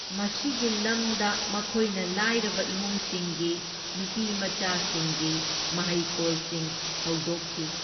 ꯃꯁꯤꯒꯤ ꯂꯝꯗ ꯃꯈꯣꯢꯅ ꯂꯥꯢꯔꯕ ꯏꯃꯨꯡꯁꯤꯡꯒꯤ ꯅꯨꯄꯤꯃꯆꯥꯁꯤꯡꯒꯤ ꯃꯍꯩꯀꯣꯜꯁꯤꯡ ꯍꯧꯗꯣꯛꯈꯤ꯫